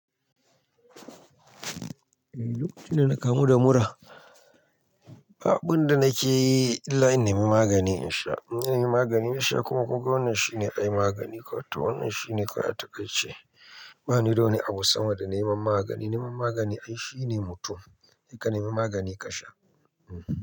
Eh lokacin da na kamu da mura. Ba abun da nake yi illa in nemi magani in sha. In na nemi magani na sha kuma kunga wannan shine ai magani, ko ta wannan shine suna takaici. Bani da wani abu sama da neman magani. Neman magani ai shine mutum. Ka nemi magani ka sha.